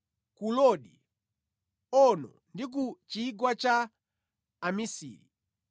ku Lodi, Ono ndi ku chigwa cha Amisiri.